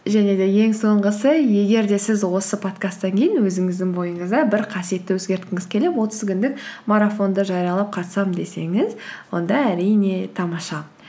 және де ең соңғысы егер де сіз осы подкасттан кейін өзіңіздің бойыңызда бір қасиетті өзгерткіңіз келіп отыз күндік марафонды жариялап қатысамын десеңіз онда әрине тамаша